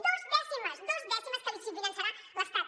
dues dècimes dues dècimes que li finançarà l’estat